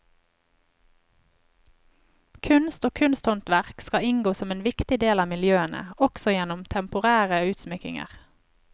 Kunst og kunsthåndverk skal inngå som en viktig del av miljøene, også gjennom temporære utsmykninger.